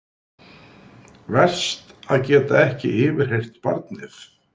Verst að geta ekki yfirheyrt barnið.